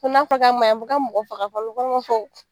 Ko n'a fɔla k'a ma ɲi a ma fɔ ko a bɛ mɔgɔ faga fana o fana ma fɔ.